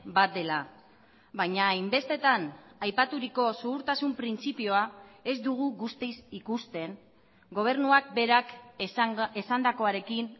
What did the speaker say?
bat dela baina hainbestetan aipaturiko zuhurtasun printzipioa ez dugu guztiz ikusten gobernuak berak esandakoarekin